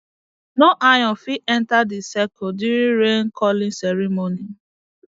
no iron fit enter the circle during rain calling ceremony